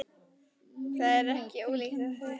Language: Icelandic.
Það er ekki ólíklegt að þau hafi þekkst.